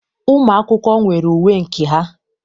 Ụmụ akwụkwọ nwere uwe nke ha.